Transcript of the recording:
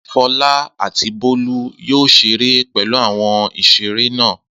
Fọlá àti Bólú yóò ṣeré pẹ̀lú àwọn ìṣeré náà.